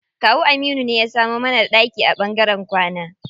Kawu Aminu ne ya samo mana ɗaki a ɓangaren kwana.